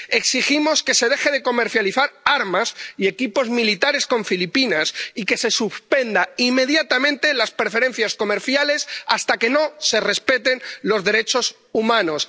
Exigimos que se dejen de comercializar armas y equipos militares con Filipinas y que se suspendan inmediatamente las preferencias comerciales hasta que no se respeten los derechos humanos.